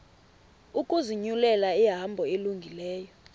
ukuzinyulela ihambo elungileyo